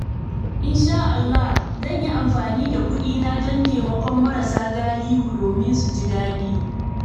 Insha Allah, zan yi amfani da kuɗina don taimakon marasa galihu domin su ji daɗi.